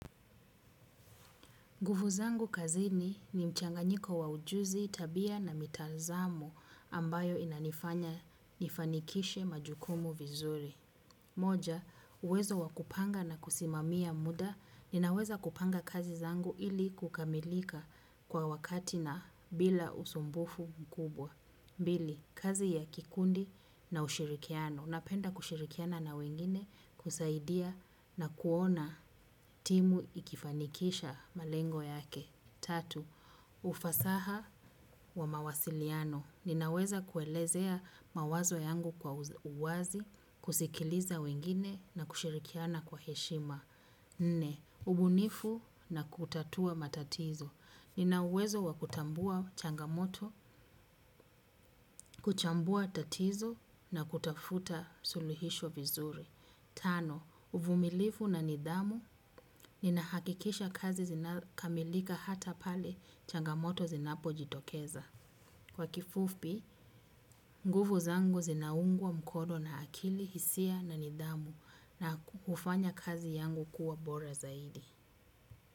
Nguvu zangu kazini ni mchanganyiko wa ujuzi tabia na mitazamo ambayo inanifanya nifanikishe majukumu vizuri. Moja, uwezo wa kupanga na kusimamia muda ninaweza kupanga kazi zangu ili kukamilika kwa wakati na bila usumbufu mkubwa. Pili, kazi ya kikundi na ushirikiano. Napenda kushirikiana na wengine kusaidia na kuona timu ikifanikisha malengo yake. Tatu, ufasaha wa mawasiliano. Ninaweza kuelezea mawazo yangu kwa uwazi, kusikiliza wengine na kushirikiana kwa heshima. Nne, ubunifu na kutatua matatizo. Nina uwezo wa kutambua changamoto, kuchambua tatizo na kutafuta suluhisho vizuri. Tano, uvumilifu na nidhamu, ninahakikisha kazi zinakamilika hata pale changamoto zinapojitokeza. Kwa kifupi, nguvu zangu zinaungwa mkono na akili, hisia na nidhamu na kufanya kazi yangu kuwa bora zaidi.